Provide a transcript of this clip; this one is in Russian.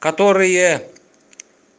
которые